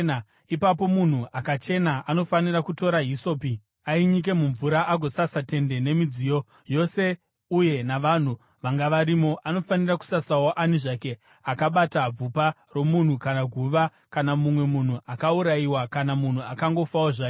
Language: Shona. Ipapo munhu akachena anofanira kutora hisopi, ainyike mumvura agosasa tende nemidziyo yose uye navanhu vanga varimo. Anofanira kusasawo ani zvake akabata bvupa romunhu kana guva kana mumwe munhu akaurayiwa kana munhu akangofawo zvake.